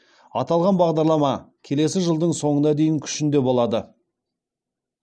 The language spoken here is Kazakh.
аталған бағдарлама келесі жылдың соңына дейін күшінде болады